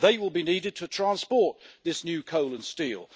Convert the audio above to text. They will be needed to transport this new coal and steel.